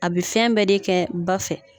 A be fɛn bɛɛ de kɛ ba fɛ.